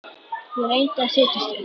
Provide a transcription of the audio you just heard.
Ég reyndi að setjast upp.